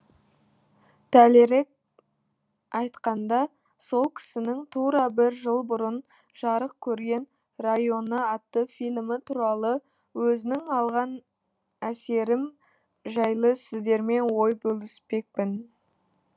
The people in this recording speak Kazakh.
дәлірек айтқанда сол кісінің тура бір жыл бұрын жарық көрген районы атты фильмі туралы өзінің алған әсерім жайлы сіздермен ой бөліспекпін